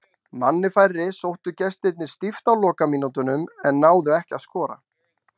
Manni færri sóttu gestirnir stíft á lokamínútunum en náðu ekki að skora.